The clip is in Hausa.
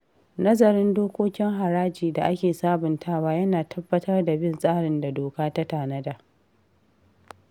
Nazarin dokokin haraji da ake sabuntawa yana tabbatar da bin tsarin da doka ta tanada.